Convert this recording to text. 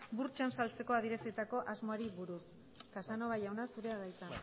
burtsan saltzeko adierazitako asmoari buruz casanova jauna zurea da hitza